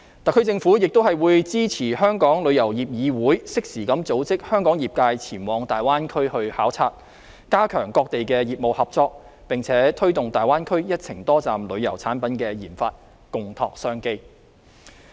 特區政府亦會支持香港旅遊業議會適時地組織香港業界前往大灣區考察，加強各地業務合作，並推動大灣區一程多站旅遊產品的研發，共拓商機。